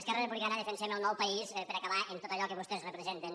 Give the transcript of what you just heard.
esquerra republicana defensem el nou país per acabar amb tot allò que vostès representen